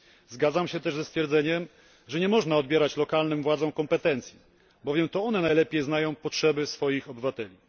Zgadzam się też ze stwierdzeniem, że nie można odbierać lokalnym władzom kompetencji, bowiem to one najlepiej znają potrzeby swoich obywateli.